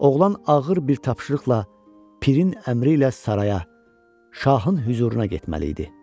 Oğlan ağır bir tapşırıqla pirin əmri ilə saraya, şahın hüzuruna getməli idi.